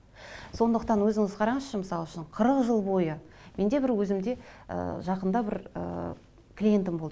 сондықтан өзіңіз қараңызшы мысал үшін қырық жыл бойы менде бір өзімде ы жақында бір ыыы клиентім болды